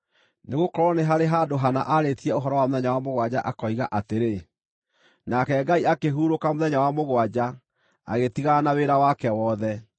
Nĩgũkorwo nĩ harĩ handũ hana aarĩtie ũhoro wa mũthenya wa mũgwanja, akoiga atĩrĩ: “Nake Ngai akĩhurũka mũthenya wa mũgwanja, agĩtigana na wĩra wake wothe.”